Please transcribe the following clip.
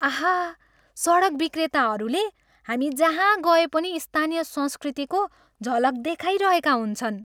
आहा, सडक विक्रेताहरूले हामी जहाँ गए पनि स्थानीय संस्कृतिको झलक देखाइरहेका हुन्छन्।